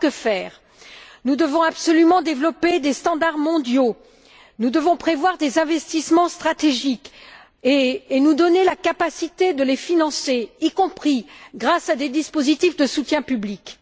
Que faire? Nous devons absolument développer des standards mondiaux. Nous devons prévoir des investissements stratégiques et nous donner la capacité de les financer, y compris grâce à des dispositifs de soutien public.